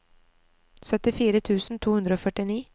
syttifire tusen to hundre og førtini